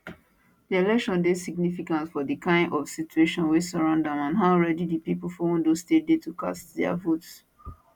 dis election dey significant for di kain of situations wey surround am and how ready di pipo for ondo state dey to cast dia votes